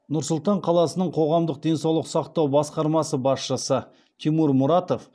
нұр сұлтан қаласының қоғамдық денсаулық сақтау басқармасы басшысы тимур мұратов